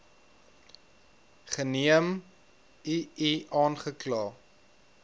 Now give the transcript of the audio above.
geneem ii aangekla